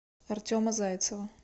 артема зайцева